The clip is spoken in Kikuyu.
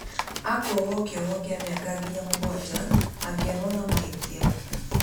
Akuohwo kĩoho kĩa mĩaka nginya mũgwanja angĩonwo na mahĩtia